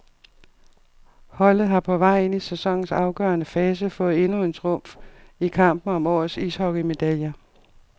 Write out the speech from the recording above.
Holdet har på vej ind i sæsonens afgørende fase fået endnu en trumf i kampen om årets ishockeymedaljer.